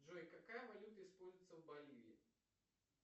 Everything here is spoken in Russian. джой какая валюта используется в боливии